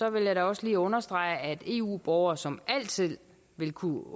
jeg da også lige understrege at eu borgere som altid vil kunne